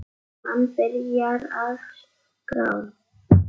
Hann byrjar að skrá.